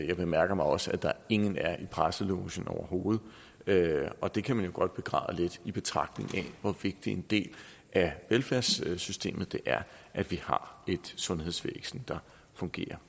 jeg bemærker mig også at der ingen er i presselogen overhovedet og det kan man jo godt begræde lidt i betragtning af hvor vigtig en del af velfærdssystemet det er at vi har et sundhedsvæsen der fungerer